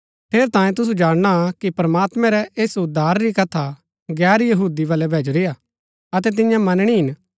ठेरैतांये तुसु जाणना कि प्रमात्मैं रै ऐस उद्धार री कथा गैर यहूदी बलै भैजुरी हा अतै तियां मनणी हिन